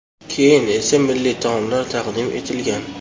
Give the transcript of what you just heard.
Keyin esa milliy taomlar taqdim etilgan.